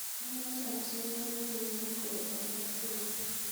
Amache acheng baruet neyobu Koros agobo tuyet